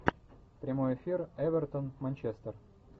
прямой эфир эвертон манчестер